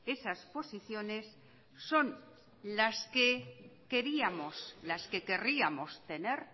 esas posiciones son las que querríamos tener